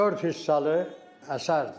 Dörd hissəli əsərdir.